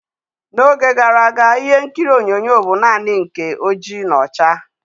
N'oge gara aga, ịhe nkiri onyonyo bụ naanị nke oji na ọcha.